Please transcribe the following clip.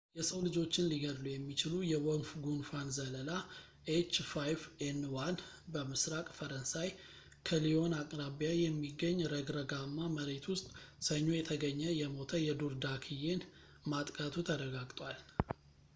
የሰው ልጆችን ሊገድል የሚችል የወፍ ጉንፋን ዘለላ፣ ኤች5ኤን1፣ በምስራቅ ፈረንሳይ ከሊዮን አቅራቢያ የሚገኝ ረግረጋማ መሬት ውስጥ፣ ሰኞ የተገኘ የሞተ የዱር ዳክዬን ማጥቃቱ ተረጋግጧል